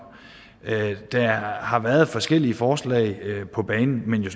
der har været forskellige forslag på banen men jeg